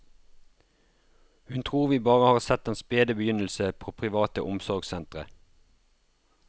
Hun tror vi bare har sett den spede begynnelse på private omsorgssentre.